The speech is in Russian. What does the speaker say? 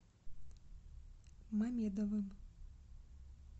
мамедовым